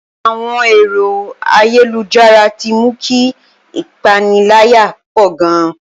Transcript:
Àwọn ẹ̀rọ ayélujára ti mú kí ìpaniláyà pọ̀ gan